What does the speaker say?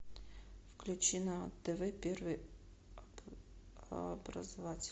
включи на тв первый образовательный